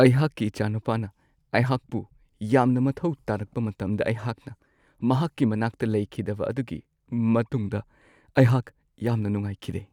ꯑꯩꯍꯥꯛꯀꯤ ꯏꯆꯥꯅꯨꯄꯥꯅ ꯑꯩꯍꯥꯛꯄꯨ ꯌꯥꯝꯅ ꯃꯊꯧ ꯇꯥꯔꯛꯄ ꯃꯇꯝꯗ ꯑꯩꯍꯥꯛꯅ ꯃꯍꯥꯛꯀꯤ ꯃꯅꯥꯛꯇ ꯂꯩꯈꯤꯗꯕ ꯑꯗꯨꯒꯤ ꯃꯇꯨꯡꯗ ꯑꯩꯍꯥꯛ ꯌꯥꯝꯅ ꯅꯨꯡꯉꯥꯏꯈꯤꯗꯦ ꯫